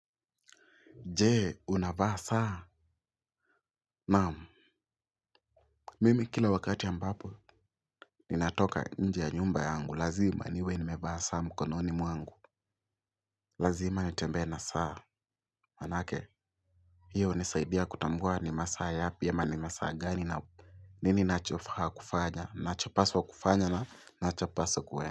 Jee, unabaa saa? Naamu. Mimi kila wakati ambapo. Ninatoka nji ya nyumba yangu lazima niwe nimevaa saa mkononi mwangu. Lazima ntembee na saa. Anake? Hiyo nisaidia kutangua ni masaa yapi ya mani masaa gani na upu. Nini nachofa kufanya. Nachopaswa kufanya na nachopaswa kwenye.